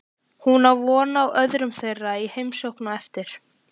Hún á von á öðrum þeirra í heimsókn á eftir.